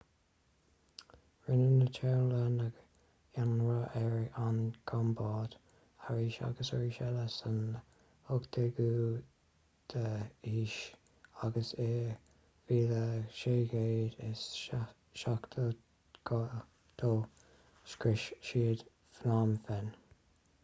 rinne na téalannaigh ionradh ar an gcambóid arís agus arís eile san 18ú haois agus i 1772 scrios siad phnom phen